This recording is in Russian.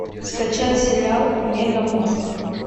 скачай сериал мегамозг